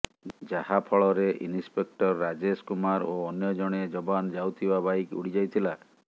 ଯାହାଫଳରେ ଇନ୍ସପେକ୍ଟର ରାଜେଶ କୁମାର ଓ ଅନ୍ୟ ଜଣେ ଯବାନ ଯାଉଥିବା ବାଇକ୍ ଉଡ଼ିଯାଇଥିଲା